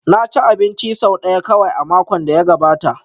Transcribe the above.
Na ci abinci sau ɗaya kawai a makon da ya gabata